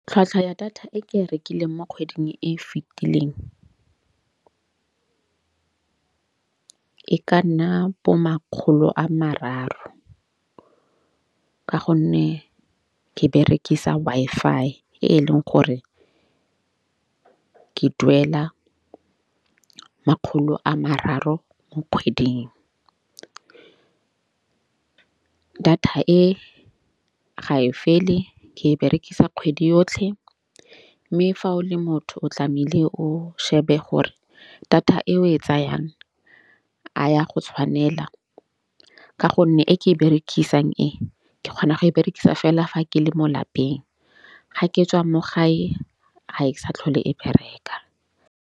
Tlhwatlhwa ya data e ke e rekileng mo kgweding e fitileng e ka nna bo makgolo a mararo. Ka gonne ke berekisa Wi-Fi e leng gore ke duela makgolo a mararo mo kgweding. Data e ga e fele ke e berekisa kgwedi yotlhe. Mme fa o le motho o tlamehile o shebe gore data e o e tsayang a ya go tshwanela ka gonne e ke e berekisang e ke kgona go e berekisa fela fa ke le mo lapeng ga ke tswa mo gae ga e sa tlhole e bereka.